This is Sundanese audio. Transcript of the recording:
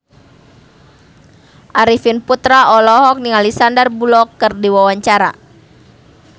Arifin Putra olohok ningali Sandar Bullock keur diwawancara